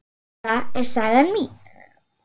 Þetta er saga mín.